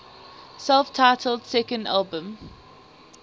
self titled second album